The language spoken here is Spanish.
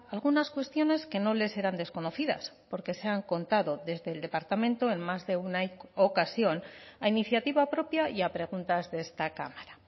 algunas cuestiones que no les serán desconocidas porque se han contado desde el departamento en más de una ocasión a iniciativa propia y a preguntas de esta cámara